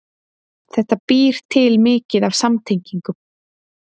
Þetta býr til mikið af samtengingum